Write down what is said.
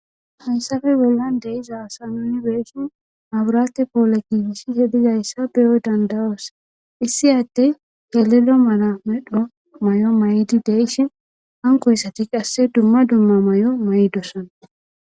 hayssafe wellan deyizaasa nuni beeshin aburate poole giiishihe dizayssa beyoy dandawoos issi atte kelelo mara medho may7o may7di deishi hankoyssati qasse dumma dumma may7o may7dosana